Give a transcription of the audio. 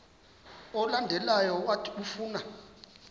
olandelayo owathi ufuna